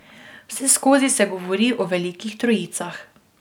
Vseskozi se govori o velikih trojicah.